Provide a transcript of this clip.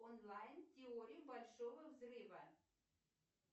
онлайн теория большого взрыва